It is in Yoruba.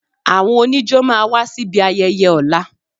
Àwọn oníjó máa wá síbi ayẹyẹ ọ̀la